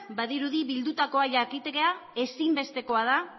badirudi bildutakoa jakitea ezinbestekoa da